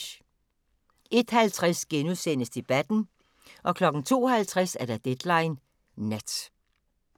01:50: Debatten * 02:50: Deadline Nat